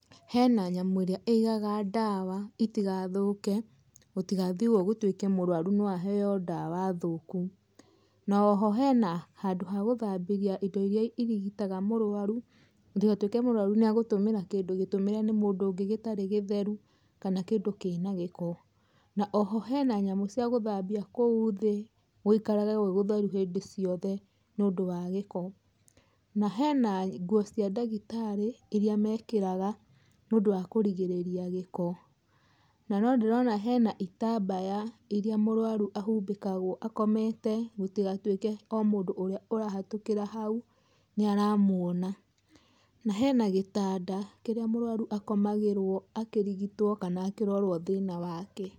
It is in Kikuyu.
Hena nyamũ ĩrĩa igaga ndawa itigathũke, gũtigathiwe ũu gũtuĩke mũrwaru noahewe ndawa thũku, hono hena handũ ha gũthambia indo irĩa irigitaga mũrwaru ndagatũĩke mũrwaru negũtũmĩra noahewe ndawa thũku noho hena handũ ga gũthambia indo irĩa irigitaga mũrwaru gũtigatũĩke mũrwaru nĩagũtũmĩra kĩndũ gĩtũmĩre nĩ mũndũ ũngĩ gĩtarĩ gĩtheru kana kĩndũ kĩna gĩko. Na oho hena nyamũ cia gũthambia kũu thĩ gwĩikarage gwĩkũtheru hĩndĩ ciothe nĩũndũ wa gĩko ,na hena ngũo cia ndagĩtarĩ irĩa mekĩraga nĩũndũ wa kũrigĩrĩria gĩko na nondĩrona itambaya iria mũrwaru ahumbĩkagwo akomete gũtigatũĩke mũndũ ũrĩa ũrahĩtũkia hau nĩ aramwona. Na hena gĩtanda kĩrĩa mũrwaru akomagĩrwo akĩrigitwa kana akĩrorwa thĩna wake.